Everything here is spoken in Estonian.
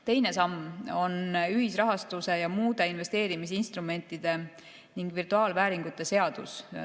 Teine samm on ühisrahastuse ja muude investeerimisinstrumentide ning virtuaalvääringute seadus.